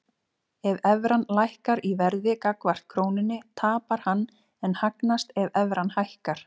Ef evran lækkar í verði gagnvart krónunni tapar hann en hagnast ef evran hækkar.